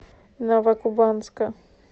новокубанска